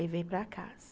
Levei para casa.